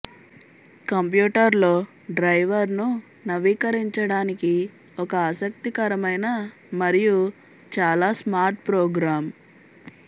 కంప్యూటర్లో డ్రైవర్ను నవీకరించడానికి ఒక ఆసక్తికరమైన మరియు చాలా స్మార్ట్ ప్రోగ్రామ్